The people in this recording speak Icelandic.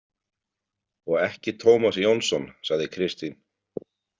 Og ekki Tómas Jónsson, sagði Kristín.